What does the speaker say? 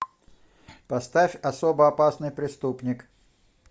поставь особо опасный преступник